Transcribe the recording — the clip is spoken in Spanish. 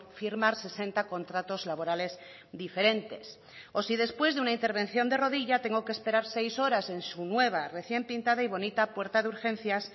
firmar sesenta contratos laborales diferentes o si después de una intervención de rodilla tengo que esperar seis horas en su nueva recién pintada y bonita puerta de urgencias